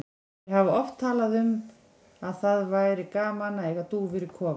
Þeir hafa oft talað um að það væri gaman að eiga dúfur í kofa.